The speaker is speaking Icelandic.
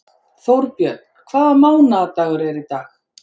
Þórbjörn, hvaða mánaðardagur er í dag?